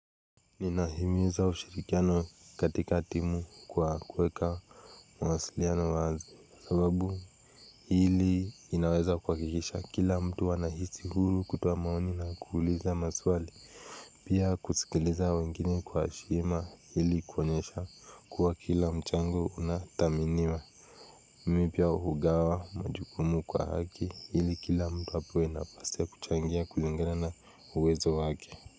Ninahimiza ushirikiano katika timu kwa kuweka mawasiliano wazi sababu ili inaweza kwa kikisha kila mtu wanahisi hulu kutoa maoni na kuuliza maswali pia kusikiliza wengine kwa shima ili kuonyesha kuwa kila mchango unathaminiwa Mimipia hugawa majukumu kwa haki ili kila mtu hapo inapasa kuchangia kulingana na uwezo wake.